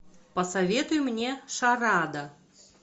посоветуй мне шарада